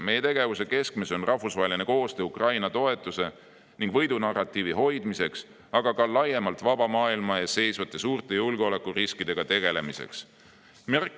Meie tegevuse keskmes on olnud rahvusvaheline koostöö Ukraina toetuse ning võidunarratiivi hoidmiseks, aga ka laiemalt vaba maailma ees seisvate suurte julgeolekuriskidega tegelemiseks.